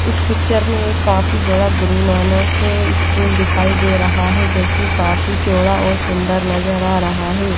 इस पिचर में काफी बड़ा गुरुनानक स्कूल दिखाई दे रहा हें जोखी काफी चोड़ा और सुन्दर नजर आ रहा हें--